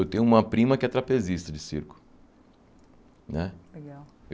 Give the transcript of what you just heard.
Eu tenho uma prima que é trapezista de circo né. Legal